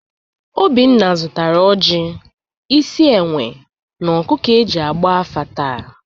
Obinna zụtara ọjị, isi enwe, na ọkụkụ e ji agba afa taa.